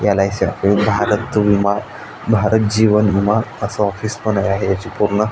L .I C Bharat विमा भारत जीवन विमा असे ऑफिस पण आहे याची पुर्ण --